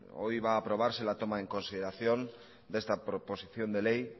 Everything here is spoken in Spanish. hoy va a aprobarse latoma en consideración de esta proposición de ley y